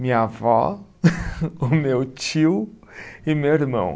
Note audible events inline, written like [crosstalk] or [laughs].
Minha avó, [laughs] o meu tio e meu irmão.